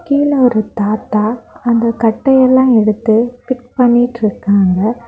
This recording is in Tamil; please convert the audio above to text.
கீழ ஒரு தாத்தா அந்த கட்டையெல்லா எடுத்து ஃபிக்ஸ் பண்ணிட்ருக்காங்க.